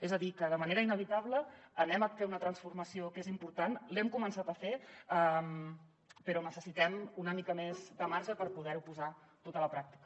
és a dir que de manera inevitable farem una transformació que és important l’hem començat a fer però necessitem una mica més de marge per poder ho posar tot a la pràctica